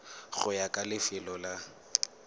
go ya ka lefelo la